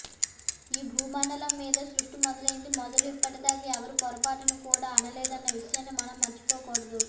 ఈ భూ మండలం మీద సృష్టి మొదలైంది మొదలు ఇప్పటిదాకా ఎవరూ పొరపాటున కూడా అనలేదన్న విషయాన్ని మనం మర్చిపోగూడదు